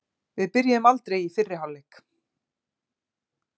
Við byrjuðum aldrei í fyrri hálfleik.